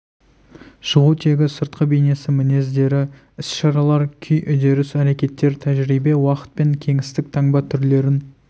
шығу тегі сыртқы бейнесі мінездері іс-шаралар күй үдеріс әрекетер тәжірибе уақыт пен кеңістік таңба түрлерін